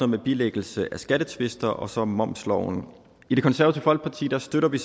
med bilæggelse af skattetvister og så momsloven i det konservative folkeparti støtter vi